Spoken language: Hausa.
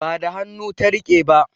Ba da hannu ta riƙe ba